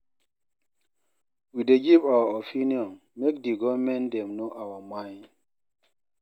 We dey give our opinion make di givernment dem know our mind.